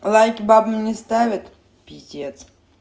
лайки бабам не ставят пиздец